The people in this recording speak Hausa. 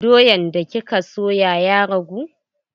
Doyan da kika soya ya rage?